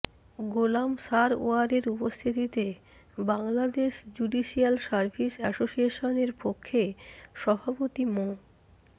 গোলাম সারওয়ারের উপস্থিতিতে Bangladesh judicial service অ্যাসোসিয়েশনের পক্ষে সভাপতি মো